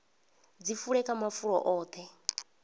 dzi fule kha mafulo oṱhe